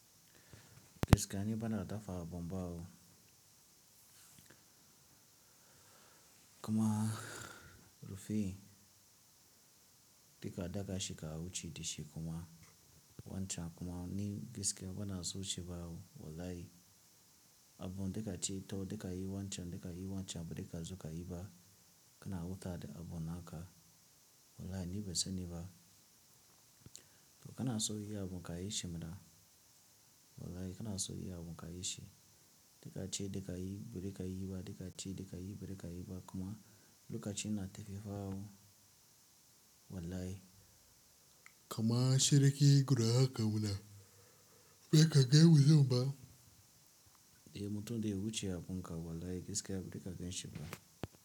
Gaskiya ni bana da dafa bombao kuma rufi. Dika daga shi ka wuce da shi kuma wancan kuma ni gaskiya bana so ci bawo wallahi. Abun dika ci to dika yi wancan dika yi wancan bika zu ka yi ba. Kana wuta da abun naka wallahi ni bai sani ba. To kana so yi abun ka yi shi mana wallahi kana so yi abu ka yi shi. Dika ci dika yi bari ka yi ba dika ci dika yi bari ka yi ba kuma lokacin na tafiya fa'a wallahi. Kama shiriki gudu haka wuna bai ka gani wu nan ba. Eh mutum dai ya wuce abunka wallahi gaskiya bari ka ganshi ba.